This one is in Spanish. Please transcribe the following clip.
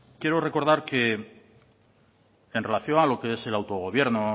quiero recordar que en relación a lo que es el autogobierno